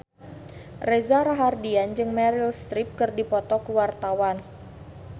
Reza Rahardian jeung Meryl Streep keur dipoto ku wartawan